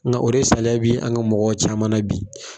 Nka o de saliya bi an ka mɔgɔw caman na bi